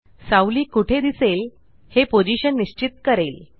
सावली कुठे दिसेल हे पोझिशन निश्चित करेल